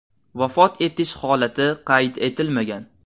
Vafot etish holati qayd etilmagan.